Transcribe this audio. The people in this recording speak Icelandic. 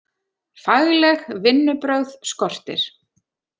Fagleg vinnubrögð skortir